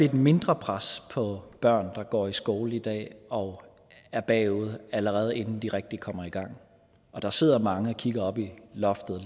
et mindre pres på børn der går i skole i dag og er bagud allerede inden de rigtig kommer i gang der sidder mange og kigger op i loftet og